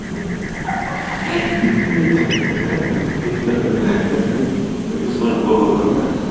ха-ха извините просто пришло в голову